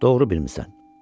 Doğru bilmisən.